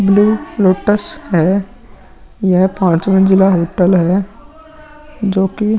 blue lotus है यह पांच मंजिला होटल है जो की --